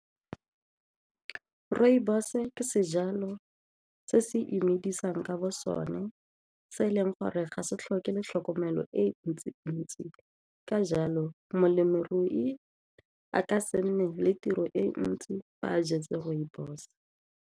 Rooibos ke sejalo se se imedisang ka bo sone se e leng gore ga se tlhoke le tlhokomelo e ntsi-ntsi, ka jalo molemirui a ka se nne le tiro e ntsi fa a jetse rooibos.